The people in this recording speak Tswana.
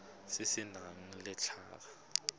se se nang le letlha